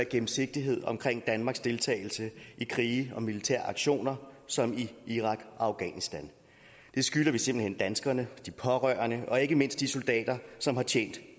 gennemsigtighed omkring danmarks deltagelse i krige og militære aktioner som i irak og afghanistan det skylder vi simpelt hen danskerne og de pårørende og ikke mindst de soldater som har tjent